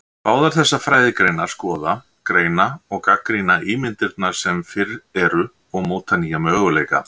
Báðar þessar fræðigreinar skoða, greina og gagnrýna ímyndirnar sem fyrir eru og móta nýja möguleika.